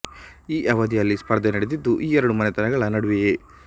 ಈ ಅವಧಿಯಲ್ಲಿ ಸ್ಪರ್ಧೆ ನಡೆದಿದ್ದು ಈ ಎರಡೂ ಮನೆತನಗಳ ನಡುವೆಯೇ